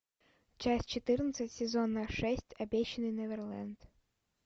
часть четырнадцать сезона шесть обещанный неверленд